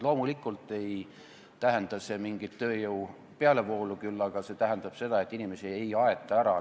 Loomulikult ei tähenda see mingit tööjõu pealevoolu, küll aga tähendab see seda, et inimesi ei aeta ära.